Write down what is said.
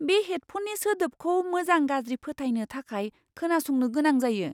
बे हेडफ'ननि सोदोबखौ मोजां गाज्रि फोथायनो थाखाय खोनासंनो गोनां जायो!